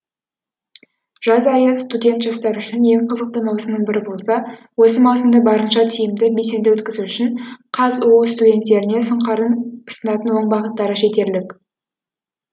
жаз айы студент жастар үшін ең қызықты маусымның бірі болса осы маусымды барынша тиімді белсенді өткізу үшін қазұу студенттеріне сұңқардың ұсынатын оң бағыттары жетерлік